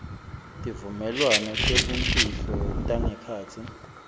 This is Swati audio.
tivumelwano tebumfihlo tangekhatsi